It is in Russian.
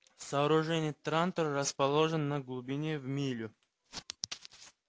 сооружений трантор расположен на глубине в милю